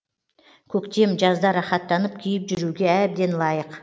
көктем жазда рахаттанып киіп жүруге әбден лайық